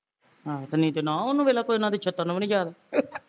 ਆਹੋ ਨਹੀਂ ਤੇ ਨੋਂ ਉਹਨੂੰ ਵੇਖਲਾ ਉਹਨਾਂ ਦੇ ਛਿਤਰ ਨੂੰ ਵੀ ਨੀ ਯਾਦ